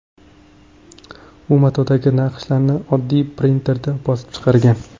U matodagi naqshlarni oddiy printerda bosib chiqargan.